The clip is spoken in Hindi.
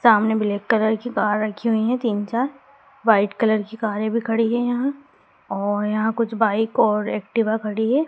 सामने ब्लैक कलर की कार रखी हुई है तीन चार वाइट कलर की कारे भी खड़ी है यहां और यहां कुछ बाइक और एक्टिवा खड़ी है।